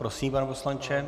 Prosím, pane poslanče.